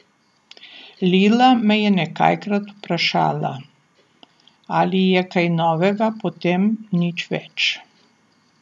Lila me je nekajkrat vprašala, ali je kaj novega, potem nič več.